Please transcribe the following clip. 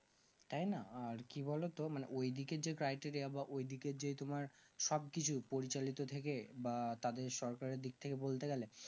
তাই না আর কি বোলো তো মানে ওই দিকে যেই টাইটেরিটা ওই দিকে যে তোমার সবকিছু পরিচালিত থেকে বা তাদের সরকারের দিকথেকে বলতে গেলে